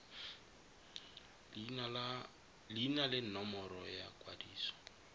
leina le nomoro ya ikwadiso